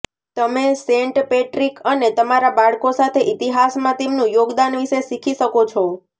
તમે Saint Patrick અને તમારા બાળકો સાથે ઇતિહાસમાં તેમનું યોગદાન વિશે શીખી શકો છો